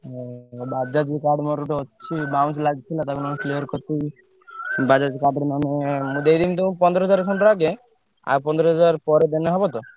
ଓହୋ Bajaj ବି card ମୋର ଗୋଟେ ଅଛି bounce ଲାଗିଥିଲା ତାକୁ ମୁଁ clear କରିଥିଲି Bajaj ତାପରେ ମାନେ ମୁଁ ଦେଇଦେବି ତମୁକୁ ପନ୍ଦର ହଜାର ଖଣ୍ଡେ ଆଉ ପନ୍ଦର ହଜାର ପରେ ଦେଲେ ହବ ତ?